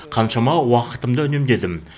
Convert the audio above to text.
қаншама уақытымды үнемдедім